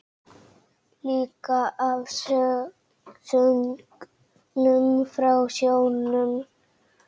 Líka af söngnum frá sjónum.